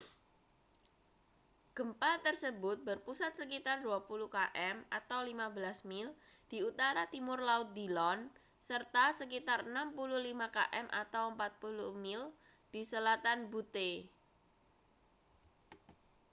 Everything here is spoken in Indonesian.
gempa tersebut berpusat sekitar 20 km 15 mil di utara-timur laut dillon serta sekitar 65 km 40 mil di selatan butte